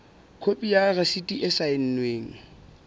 khopi ya rasiti e saennweng